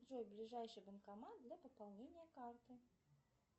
джой ближайший банкомат для пополнения карты